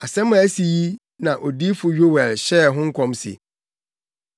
Asɛm a asi yi na odiyifo Yoel hyɛɛ ho nkɔm se: